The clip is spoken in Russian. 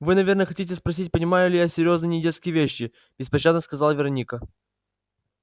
вы наверное хотите спросить понимаю ли я серьёзные недетские вещи беспощадно сказала вероника